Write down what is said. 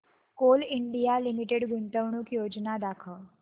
Coal India limited गुंतवणूक योजना दाखव